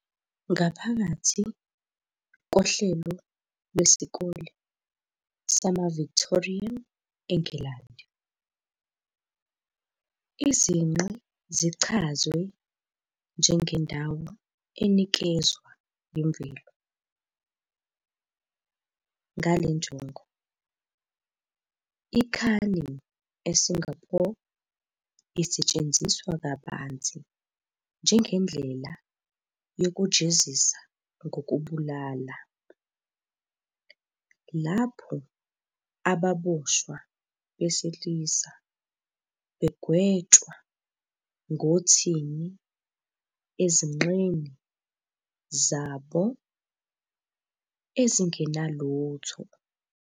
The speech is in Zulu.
Ngaphakathi kohlelo lwesikole sama-Victorian eNgilandi, izinqe zichazwe njenge "ndawo enikezwa yimvelo" ngale njongo. I-Caning eSingapore isetshenziswa kabanzi njengendlela yokujezisa ngokubulala, lapho ababoshwa besilisa begwetshwa ngothini ezinqeni zabo ezingenalutho.